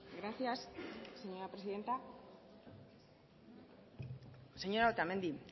gracias señora presidenta señora otamendi